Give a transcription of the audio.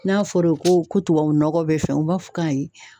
N'a fɔro ko ko tubabu nɔgɔ bɛ fɛn u b'a fɔ ko ayi.